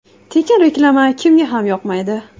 Tekin reklama kimga ham yoqmaydi?